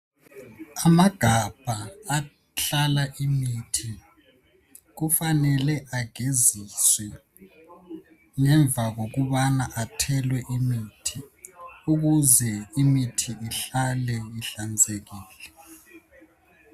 Amagabha ahlala imithi kufanele ageziswe ngemva kokubana athelwe imithi ukuze imithi ihlale ihlanzekile.